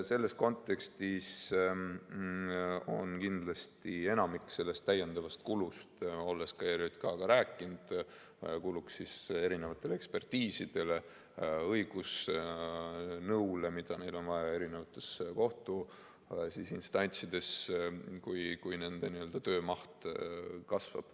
Selles kontekstis kindlasti enamik sellest täiendavast kulust läheks ekspertiisidele, õigusnõule, mida neil on vaja eri kohtuinstantsides, kui nende töömaht kasvab.